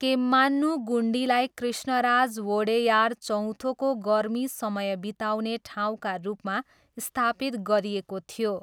केम्मान्नुगुन्डीलाई कृष्णराज वोडेयार चौथोको गर्मी समय बिताउने ठाउँका रूपमा स्थापित गरिएको थियो।